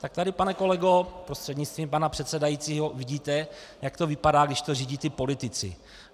Tak tady, pane kolego prostřednictvím pana předsedajícího, vidíte, jak to vypadá, když to řídí ti politici.